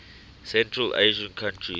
central asian countries